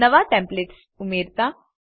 નવા ટેમ્પલેટ્સ ઉમેરતા